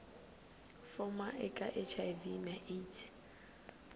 fuma eka hiv na aids